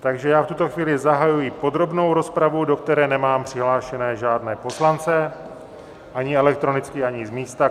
Takže já v tuto chvíli zahajuji podrobnou rozpravu, do které nemám přihlášené žádné poslance ani elektronicky, ani z místa.